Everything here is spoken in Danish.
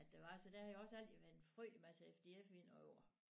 At det var så der har jo også altid været en frygtelig masse FDF i mine år